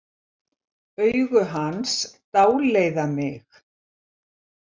Augu hans dáleiða mig.